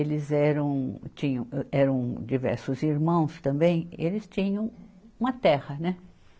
Eles eram, tinham, eram diversos irmãos também e eles tinham uma terra, né?